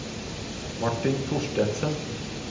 Martin Thorstensen